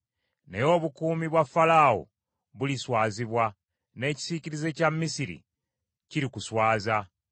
Naye obukuumi bwa Falaawo buliswazibwa, n’ekisiikirize kya Misiri kirikuswaza.